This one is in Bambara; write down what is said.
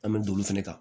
An bɛ don olu fɛnɛ kan